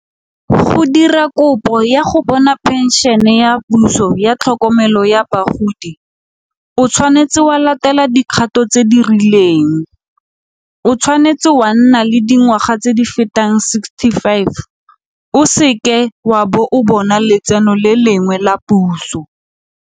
Go dira kopo ya go bona phenšene ya puso ya tlhokomelo ya bagodi, o tshwanetse wa latela dikgato tse di rileng. O tshwanetse wa nna le dingwaga tse di fetang sixty five o se ke wa bo o bona letseno le lengwe la puso.